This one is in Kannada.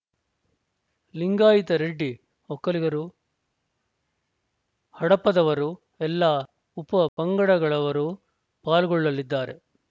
ಲಿಂಗಾಯಿತ ರೆಡ್ಡಿ ಒಕ್ಕಲಿಗರು ಹಡಪದವರು ಎಲ್ಲಾ ಉಪ ಪಂಗಡಗಳವರು ಪಾಲ್ಗೊಳ್ಳಲಿದ್ದಾರೆ